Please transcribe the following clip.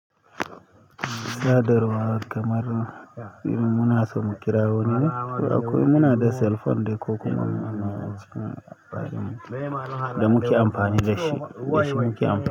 Sadarwa kamar muna so mu kira wani ne, ko akwai muna da cell phone dai ko kuma ana cikin abin da muke amfani da shi, da shi muke amfani.